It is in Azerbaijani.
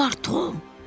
Nə var, Tom?